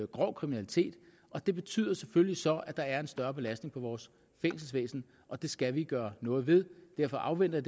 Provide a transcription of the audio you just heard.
grov kriminalitet det betyder selvfølgelig så side at der er en større belastning på vores fængselsvæsen og det skal vi gøre noget ved derfor afventer